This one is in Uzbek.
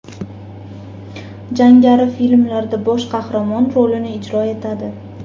Jangari filmlarda bosh qahramon rolini ijro etadi.